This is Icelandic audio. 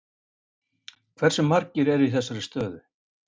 Hversu margir eru í þessari stöðu?